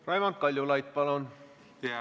Raimond Kaljulaid, palun!